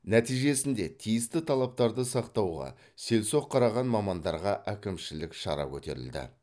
нәтижесінде тиісті талаптарды сақтауға селсоқ қараған мамандарға әкімшілік шара көтерілді